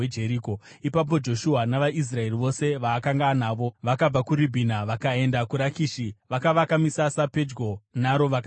Ipapo Joshua navaIsraeri vose vaakanga anavo vakabva kuRibhina vakaenda kuRakishi; vakavaka misasa yavo pedyo naro vakarirwisa.